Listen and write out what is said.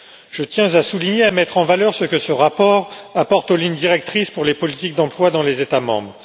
Je tiens à souligner et à mettre en valeur ce que ce rapport apporte aux lignes directrices pour les politiques d'emploi dans les États membres.